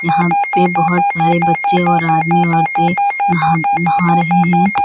यहाँ पे बहोत सारे बच्चे और आदमी औरतें नहा नहा रहे हैं।